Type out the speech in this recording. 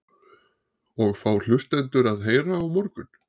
Og hvað fá hlustendur að heyra á morgun?